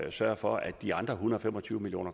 at sørge for at de andre en hundrede og fem og tyve million